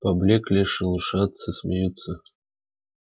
поблёкли шелушатся смеются